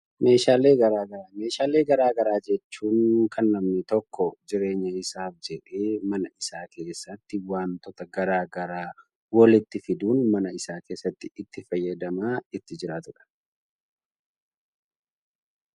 Meeshaalee addaa addaa jechuun kan namni tokko jireenya isaaf jedhee mana isaa keessatti wantoota garaa garaa walitti fiduun mana isaa keessatti ittiin fayyadamaa itti jiraatuudha.